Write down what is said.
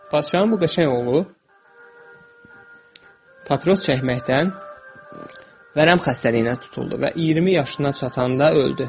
Padşahın bu qəşəng oğlu papiros çəkməkdən vərəm xəstəliyinə tutuldu və 20 yaşına çatanda öldü.